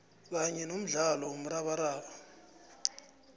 kanye nomdlalo womrabaraba